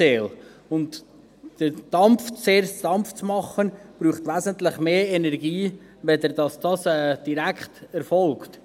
Zuerst den Dampf zu erzeugen, braucht wesentlich mehr Energie, als wenn dies direkt erfolgt.